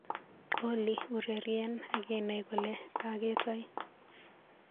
Olly, ureryen akinai kole kaketai.